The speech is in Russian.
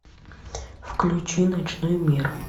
включи ночной мир